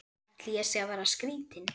Ætli ég sé að verða skrýtin.